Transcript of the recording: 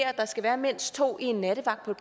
at der skal være mindst to i en nattevagt på